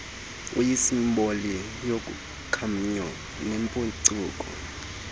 uyisimboli yokhanyo nempucuko